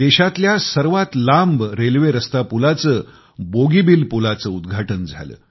देशातल्या सर्वात लांब रेल्वेरस्ता पुलाचे उद्घाटन झाले